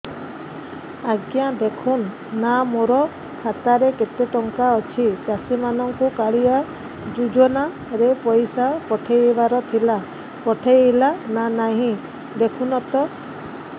ଆଜ୍ଞା ଦେଖୁନ ନା ମୋର ଖାତାରେ କେତେ ଟଙ୍କା ଅଛି ଚାଷୀ ମାନଙ୍କୁ କାଳିଆ ଯୁଜୁନା ରେ ପଇସା ପଠେଇବାର ଥିଲା ପଠେଇଲା ନା ନାଇଁ ଦେଖୁନ ତ